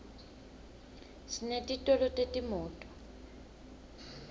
sinetitolo tetimoto